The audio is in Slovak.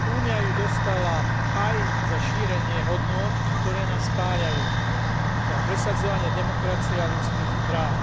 Únia ju dostala aj za šírenie hodnôt, ktoré nás spájajú, teda presadzovanie demokracie a ľudských práv.